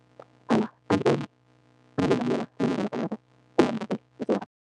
Awa,